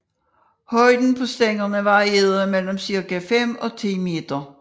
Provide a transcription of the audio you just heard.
Højden på stængerne varierede mellem cirka fem og ti meter